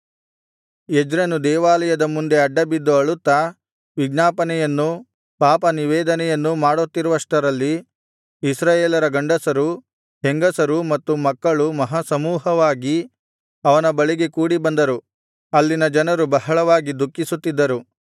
ಎಜ್ರನು ದೇವಾಲಯದ ಮುಂದೆ ಅಡ್ಡಬಿದ್ದು ಅಳುತ್ತಾ ವಿಜ್ಞಾಪನೆಯನ್ನೂ ಪಾಪನಿವೇದನೆಯನ್ನೂ ಮಾಡುತ್ತಿರುವಷ್ಟರಲ್ಲಿ ಇಸ್ರಾಯೇಲರ ಗಂಡಸರು ಹೆಂಗಸರೂ ಮತ್ತು ಮಕ್ಕಳೂ ಮಹಾಸಮೂಹವಾಗಿ ಅವನ ಬಳಿಗೆ ಕೂಡಿಬಂದರು ಅಲ್ಲಿನ ಜನರು ಬಹಳವಾಗಿ ದುಃಖಿಸುತ್ತಿದ್ದರು